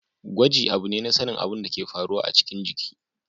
Gwaji abu ne na sanin abin da ke faruwa a cikin jiki.